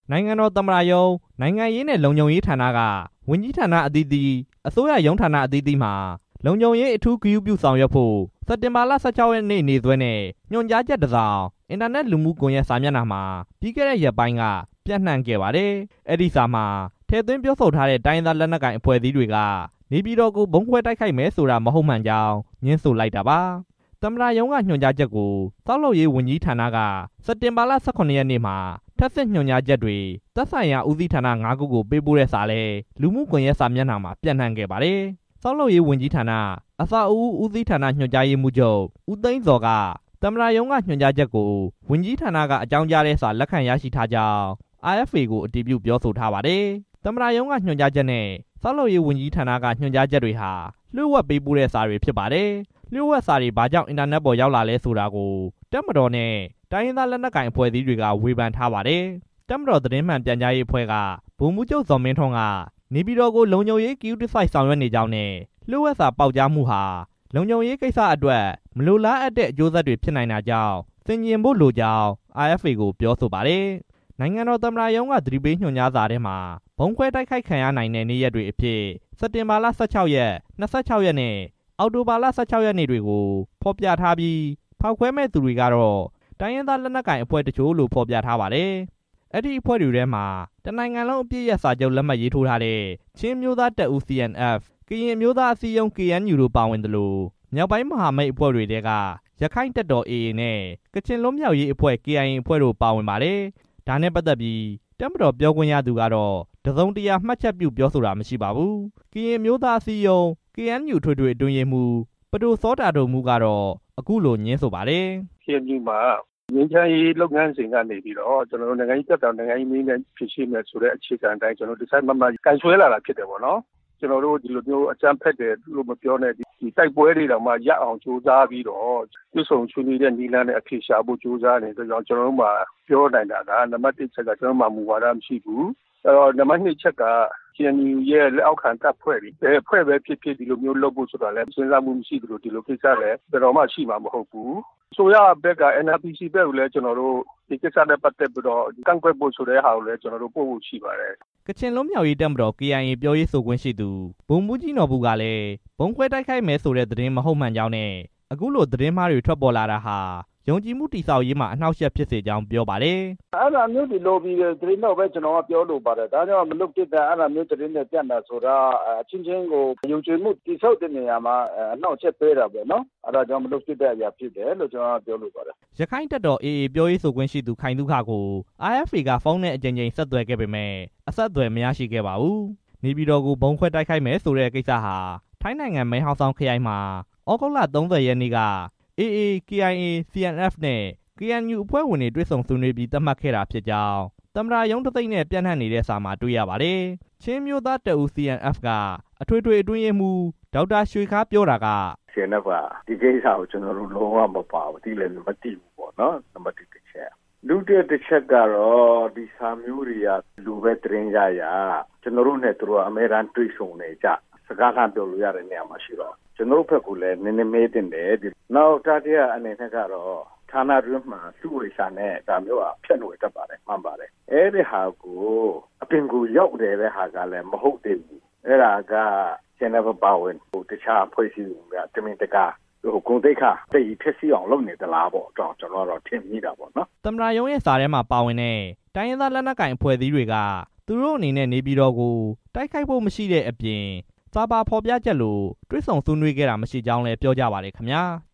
နိုင်ငံတော်သမ္မတရုံး၊ နိုင်ငံရေးနဲ့ လုံခြုံရေးဌာနက ဝန်ကြီးဌာနအသီးသီး၊ အစိုးရရုံးဌာနအသီးသီးမှာ လုံခြုံရေး အထူးဂရုပြုဆောင်ရွက်ဖို့ စက်တင်ဘာ ၁၆ ရက်နေ့စွဲနဲ့ ညွှန်ကြားချက်တစ်စောင် အင်တာနက်လူမှုစာမျက်နှာတွေမှာ ပြီးခဲ့တဲ့ ရက်ပိုင်းလောက်က ပျံံံ့နှံ့ခဲ့ပါတယ်။ အဲဒီစာမှာ ထည့်သွင်းပြောဆိုထားတဲ့ တိုင်းရင်းသား လက်နက်ကိုင်အဖွဲ့အစည်းတွေက နေပြည်တော်ကို ဗုံးခွဲတိုက်ခိုက်မယ်ဆိုတဲ့ကိစ္စဟာ မဟုတ်မှန်ကြောင်း ငြင်းဆိုလိုက်တာပါ။ သမ္မတရုံးက ညွှန်ကြားချက်ကို ဆောက်လုပ်ရေးဝန်ကြီးဌာနက စက်တင်ဘာ ၁၇ ရက်နေ့မှာ ထပ်ဆင့်ညွှန်ကြားချက်တွေ သက်ဆိုင်ရာ ဦးစီးဌာန ငါးခုကို ပေးပို့တဲ့စာလည်း လူမှုကွန်ရက်မှာ ပျံ့နှံ့ခဲ့ပါတယ်။ ဆောက်လုပ်ရေးဝန်ကြီးဌာနက အဆောက်အဦ ဦးစီးဌာန ညွှန်ကြားရေးမှူးချုပ် ဦးသိန်းဇော်က သမ္မတရုံးက ညွှန်ကြားစာကို ဝန်ကြီးဌာနက အကြောင်းကြားတဲ့စာ လက်ခံရရှိထားကြောင်း RFA ကို အတည်ပြုပြောဆိုထားပါတယ်။ သမ္မတရုံးက ညွှန်ကြားချက်နဲ့ ဆောက်လုပ်ရေးဝန်ကြီးဌာနက ညွှန်ကြားချက်တွေဟာ လျှို့ဝှက် ပေးပို့တဲ့စာတွေ ဖြစ်ပါတယ်။ လျှို့ဝှက်စာတွေ ဘာကြောင့် အင်တာနက်ပေါ် ရောက်လာလည်းဆိုတာကို တိုင်းရင်းသားလက်နက်ကိုင်အဖွဲ့တွေနဲ့ တပ်မတော်က ဝေဖန်ထားပါတယ်။ တပ်မတော်သတင်းမှန် ပြန်ကြားရေးအဖွဲ့က ဗိုလ်မှူးချုပ် ဇော်မင်းထွန်းက နေပြည်တော်ကို လုံခြုံရေး ဂရုတစိုက် ဆောင်ရွက်နေကြောင်းနဲ့ လျှို့ဝှက်စာပေါက်ကြားမှုဟာ လုံခြုံရေးကိစ္စအတွက် မလိုလားအပ်တဲ့ အကျိုးဆက်တွေ ဖြစ်နိုင်တာကြောင့် ဆင်ခြင်ဖို့လိုကြောင်း RFA ကို ပြောဆိုပါတယ်။ နိုင်ငံတော် သမ္မတရုံးက သတိပေးညွှန်ကြားစာထဲမှာ ဗုံးခွဲတိုက်ခိုက်ခံရနိုင်တဲ့ နေ့ရက်တွေအဖြစ် စက်တင်ဘာလ ၁၆ ရက်၊ ၂၆ ရက်နဲ့၊ အောက်တိုဘာလ ၁၆ ရက်နေ့တွေကို ဖော်ပြထားပြီး၊ ဖောက်ခွဲမဲ့သူတွေကတော့ တိုင်းရင်းသားလက်နက်ကိုင်အဖွဲ့တချို့လို့ ဖော်ပြထားပါတယ်။ အဲဒီအဖွဲ့တွေထဲမှာ တစ်နိုင်ငံလုံးအပစ်ရပ်စာချုပ်မှာလက်မှတ်ထိုးထားတဲ့ CNF ချင်းအမျိုးသားတပ်ဦးနဲ့ KNU ကရင်အမျိုးသားအစည်းအရုံးတို့ ပါဝင်သလို မြောက်ပိုင်းမဟာမိတ်အဖွ့ဲထဲက AA ရက္ခိုင့်တပ်တော်နဲ့ KIA ကချင်လွတ်မြောက်ရေးအဖွဲ့ တို့ကို ဖော်ပြထားပါတယ်။ ဒါနဲ့ပတ်သက်ပြီး တပ်မတော်ပြောခွင့်ရသူကတော့ တစ်စုံတရာ မှတ်ချက်ပြုပြောဆိုတာ မရှိပါဘူး။ ကရင်အမျိုးသား အစည်းအရုံး KNU အထွေထွေအတွင်းရေးမှူး ပဒိုစောတာဒိုမူးကတော့ အခုလိုငြင်းဆိုပါတယ်။ "KNU မှာ ငြိမ်းချမ်းရေး လုပ်ငန်းစဉ်ကနေ နိုင်ငံရေး ပြဿနာကို နိုင်ငံရေးနည်းနဲ့ ဖြေရှင်းမယ်ဆိုတဲ့ အခြေခံအတိုင်း တစိုက်မတ်မတ် ကိုင်စွဲလာတာဖြစ်တယ်၊ ကျွန်တော်တို့ အကြမ်းဖက်ဖို့ကိစ္စမပြောနဲ့ တိုက်ပွဲတွေ ရပ်အောင်ကြိုးစားပြီးတော့ တွေ့ဆုံဆွေးနွေးတဲ့ နည်းလမ်းနဲ့ အဖြေရှာဖို့ ကြိုးစားနေတဲ့အတွက်ကြောင့် ကျွန်တော်တို့မှာ ပြောနိုင်တာက နံပါတ်တစ်က အကြမ်းဖက်တိုက်ခိုက်ဖို့ကိစ္စ ကျွန်တော်တို့မှာ မူဝါဒမရှိဘူး၊ နံပါတ်နှစ်က KNU ရဲ့ လက်အောက်ခံ တပ်ဖွဲ့တွေ ဘယ်အဖွဲ့ပဲဖြစ်ဖြစ် ဒီလိုကိစ္စတွေလုပ်ဖို့ စဉ်းစားချက်မရှိသလို ဘယ်တော့မှလည်း လုပ်မှာမဟုတ်ပါဘူး၊ အစိုးရဘက်က NRPC ဘက်ကိုလည်း ကျွန်တော်တို့ ဒီကိစ္စနဲ့ ပတ်သက်ပြီး ကန့်ကွက်တာကို ပို့ဖို့ရှိပါတယ်" ကချင်လွတ်မြောက်ရေးတပ်မတော် KIA ပြောရေးဆိုခွင့်ရှိသူ ဗိုလ်မှူးကြီး နော်ဘူ ကလည်း ဗုံးခွဲတိုက်ခိုက်မယ်ဆိုတဲ့ သတင်းဟာမဟုတ်မှန်ကြောင်းနဲ့ အခုလို သတင်းမှားတွေ ထွက်ပေါ်လာတာဟာ ယုံကြည်မှုတည်ဆောက်ရေးမှာ အနှောင့်အယှက်ဖြစ်စေကြောင်း ပြောပါတယ်။ "အဲဒီသတင်းကို လော်ဘီသတင်းလို့ပဲ ပြောလိုပါတယ်၊ အဲဒါမျိုးသတင်းတွေ ပြန့်တာက အချင်းချင်းကို ယုံကြည်မှုတည်ဆောက်ရေးမှာ အနှောက်အယှက်ပေးတာပေ့ါနော်၊ အဲဒါက မလုပ်သင့်တဲ့အရာလို့ ကျွန်တော်က ပြောလိုပါတယ်" ရက္ခိုင့်တပ်တော် AA ပြောရေးဆိုခွင့်ရှိသူ ခိုင်သုခကို RFA က မေးမြန်းဖို့ အကြိမ်ကြိမ်ကြိုးစားခဲ့ပေမယ့် အဆက်အသွယ် မရရှိခဲ့ပါဘူး။ နေပြည်တော်ကို ဗုံးခွဲတိုက်ခိုက်မယ်ဆိုတဲ့ကိစ္စဟာ ထိုင်းနိုင်ငံ မယ်ဟောင်ဆောင်ခရိုင်မှာ သြဂုတ်လ ၃၀ ရက်နေ့က AA၊ KIA၊ CNF နဲ့ KNU အဖွဲ့ဝင်တွေ တွေ့ဆုံဆွေးနွေးပြီး သတ်မှတ်ခဲ့တာဖြစ်ကြောင်း သမ္မတရုံး တံဆိပ်နဲ့ ပျံ့နှံ့နေတဲ့စာမှာ တွေ့ရပါတယ်။ ချင်းအမျိုးသားတပ်ဦး CNF က အထွေထွေအတွင်းရေးမှူး ဒေါက်တာ ရွှေခါး ပြောတာက- "CNF က ဒီကိစ္စကို ကျွန်တော်တို့ သိလည်း မသိဘူး၊ ပါလည်းမပါဘူး နံပါတ်တစ် အချက်၊ ဒီစာမျိုးတွေက ဘယ်လိုပဲ သတင်းရရ ကျွန်တော်တို့နဲ့ သူတို့က အမြဲတမ်းတွေ့ဆုံနေကျ စကားလှမ်းပြောလို့ရတဲ့ နေရာမှာရှိတော့ ကျွန်တော်တို့ဘက်ကိုလည်း မေးသင့်တယ်၊ နောက် တတိယအနေနဲ့ ဌာနတွင်းမှာ လျှို့ဝှက်စာနဲ့ ဒါမျိုးက ဖြန့်ဝေတတ်တာမှန်ပါတယ်၊ အဲဒီဟာကို အပြင်ကို ရောက်နေတဲ့ဟာကလည်း မဟုတ်သေးဘူး၊ အဲဒါက CNF အပါအဝင် တခြားအဖွဲ့အစည်းတွေကိုများ တမင်တကာ ဂုဏ်သိက္ခာ အသရေဖျက်ဆီးအောင် လုပ်နေသလားပေ့ါ ဒီလိုပဲထင်မိတာပေါ့နော်" သမ္မတရုံးရဲ့ စာထဲမှာ ပါဝင်တဲ့ တိုင်းရင်းသား လက်နက်ကိုင်အဖွဲ့တွေက သူတို့အနေနဲ့ နေပြည်တော်ကို တိုက်ခိုက်ဖို့ မရှိတဲ့အပြင် စာပါဖော်ပြချက်လို တွေ့ဆုံဆွေးနွေးခဲ့တာ မရှိကြောင်းလည်း ပြောပါတယ်ခင်ဗျာ။